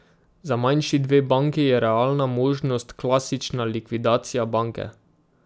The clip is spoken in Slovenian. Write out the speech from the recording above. Za manjši dve banki je realna možnost klasična likvidacija banke.